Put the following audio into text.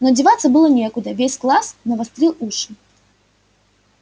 но деваться было некуда весь класс навострил уши